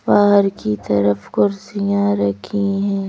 बाहर की तरफ कुर्सियां रखी है।